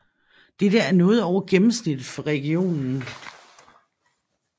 Dette er noget over gennemsnittet for regionen